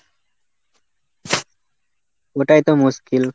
ওটাই তো মুশকিল।